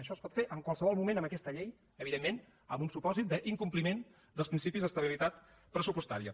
això es pot fer en qualsevol moment amb aquesta llei evidentment en un supòsit d’incompliment dels principis d’estabilitat pressupostària